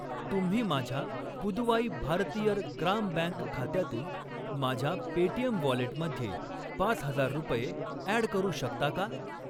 तुम्ही माझ्या पुदुवाई भारतियर ग्राम बँक खात्यातून माझ्या पेटीएम वॉलेटमध्ये पाच हजार रुपये ॲड करू शकता का?